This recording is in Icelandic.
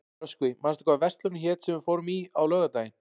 Röskvi, manstu hvað verslunin hét sem við fórum í á laugardaginn?